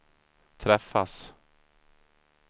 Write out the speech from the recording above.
träffas